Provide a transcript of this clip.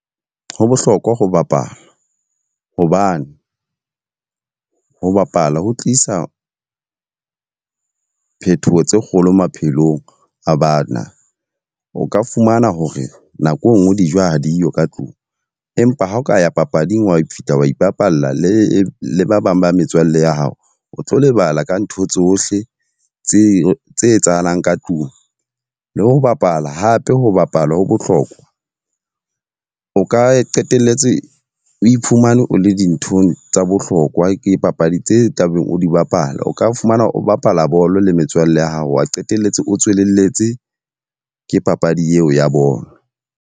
Ho bohlokwa ho bapala. Hobane ho bapala ho tlisa phethoho tse kgolo maphelong a bana. O ka fumana hore nako e nngwe dijo ha diyo ka tlung. Empa ha o ka ya papading, wa fihla wa ipapalla le le ba bang ba metswalle ya hao. O tlo lebala ka ntho tsohle tse tse etsahalang ka tlung. Le ho bapala, hape ho bapala ho bohlokwa o ka qetelletse o iphumane o le dinthong tsa bohlokwa ke papadi tse tla beng o di bapala. O ka fumana o bapala bolo le metswalle ya hao wa qetelletse o tswelelletse ke papadi eo ya bolo.